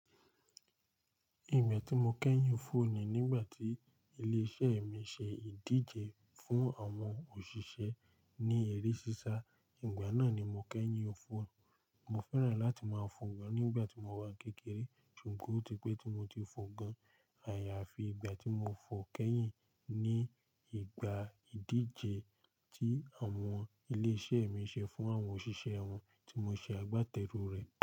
Ìgbà tí mo kẹ́yìn fò ni nígbà tí ilé-iṣẹ́ mi ṣe ìdíje fún àwọn òṣìṣẹ́ ní eré sísá. Ìgbà náà ni mo kẹ́yìn òfò. Mo fẹ́ràn láti máa fò gan nígbà tí mo wà kékeré ṣùgbọ́n ó ti pẹ́ tí mo ti fò gan. Àyàfi ìgbà tí mo fò kẹ́yìn ní ìgbà ìdíje tí àwọn ilé-iṣẹ́ mi ṣe fún àwọn òṣìṣẹ́ wọn tí mo ṣe agbátẹrù rẹ̀.